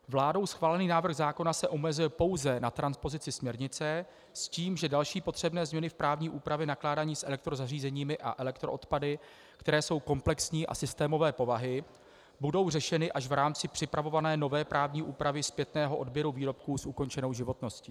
Vládou schválený návrh zákona se omezuje pouze na transpozici směrnice s tím, že další potřebné změny v právní úpravě nakládání s elektrozařízeními a elektroodpady, které jsou komplexní a systémové povahy, budou řešeny až v rámci připravované nové právní úpravy zpětného odběru výrobků s ukončenou životností.